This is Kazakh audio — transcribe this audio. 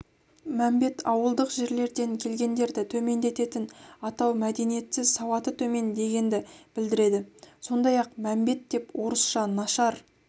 мәмбет ауылдық жерлерден келгендерді төмендететін атау мәдениетсіз сауаты төмен дегенді білдіреді сондай-ақ мәмбет деп орысша нашар